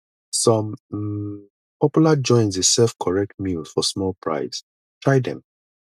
some um popular joints dey serve correct meal for small price try them